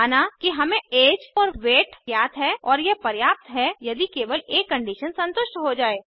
माना कि हमें ऐज और वेट ज्ञात हैं और यह पर्याप्त है यदि केवल एक कंडीशन संतुष्ट हो जाये